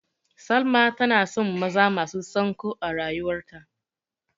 Salma tana son maza masu sanƙo a rayuwarta.